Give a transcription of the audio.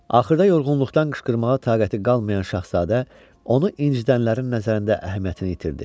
Axırda yorğunluqdan qışqırmağa taqəti qalmayan Şahzadə onu incitənlərin nəzərində əhəmiyyətini itirdi.